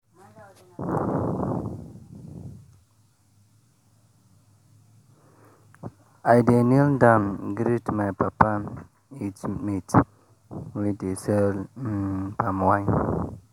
i dey kneel down greet my papa age mate wey dey sell um palm wine